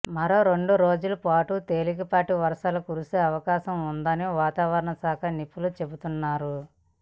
మరో రెండు రోజుల పాటు తేలికపాటి వర్షాలు కురిసే అవకాశం ఉందని వాతావరణ శాఖ నిపుణులు చెబుతున్నారు